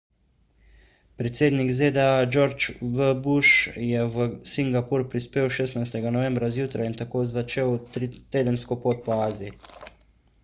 predsednik zda george w bush je v singapur prispel 16 novembra zjutraj in tako začel tedensko pot po aziji